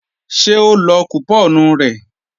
Ṣé ó lọ kùpọ́ọ̀nù rẹ̀